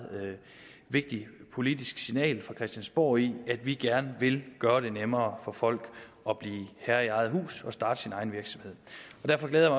vigtigt politisk signal fra christiansborg i at vi gerne vil gøre det nemmere for folk at blive herre i eget hus og starte sin egen virksomhed derfor glæder